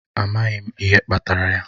Amaghị m ihe kpatara ya.